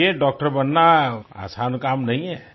देखिये डॉक्टर बनना आसान काम नहीं है